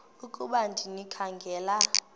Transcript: ukuba ndikha ngela